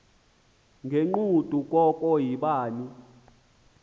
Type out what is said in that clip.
ngegqudu koko yibani